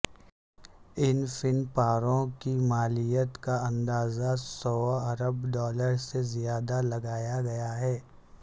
ان فن پاروں کی مالیت کا اندازہ سوا ارب ڈالر سے زیادہ لگایا گیا ہے